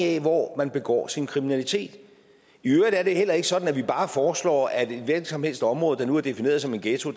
af hvor man begår sin kriminalitet i øvrigt er det heller ikke sådan at vi bare foreslår at et hvilket som helst område der nu er defineret som en ghetto